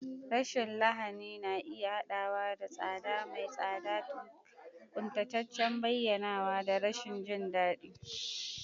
Rashin lahani na iya haɗawa da tsada mai tsada, ƙuntataccen bayyanawa, da rashin jin daɗi.